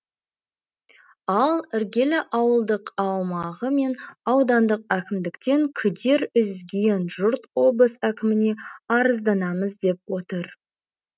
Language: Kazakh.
ал іргелі ауылдық аумағы мен аудандық әкімдіктен күдер үзген жұрт облыс әкіміне арызданамыз деп отыр